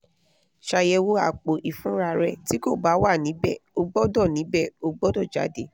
ṣayẹwo apo-ifunra rẹ ti ko ba wa nibẹ o gbọdọ nibẹ o gbọdọ jade